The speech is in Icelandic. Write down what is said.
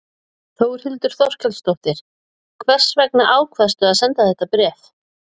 Þórhildur Þorkelsdóttir: Hvers vegna ákvaðstu að senda þetta bréf?